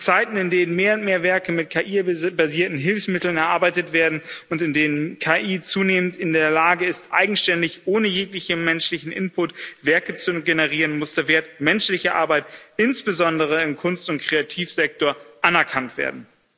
In Zeiten, in denen mehr und mehr Werke mit KI basierten Hilfsmitteln erarbeitet werden und in denen KI zunehmend in der Lage ist, eigenständig ohne jeglichen menschlichen Input Werke zu generieren, muss der Wert menschlicher Arbeit insbesondere im Kunst und Kreativsektor anerkannt werden.